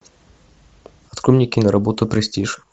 открой мне киноработу престиж